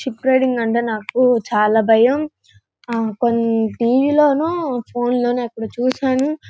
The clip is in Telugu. చుప్ రైడింగ్ అంటే నాకు చాలా భయం ఆ కోన్ టి_వి లోనో ఫోన్ లోనో ఎక్కడో చూసాను.